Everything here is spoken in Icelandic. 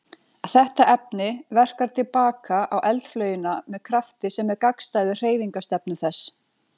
Þetta efni verkar til baka á eldflaugina með krafti sem er gagnstæður hreyfingarstefnu þess.